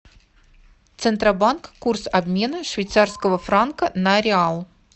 центробанк курс обмена швейцарского франка на реал